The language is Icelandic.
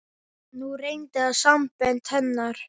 Nú reyndi á sambönd hennar.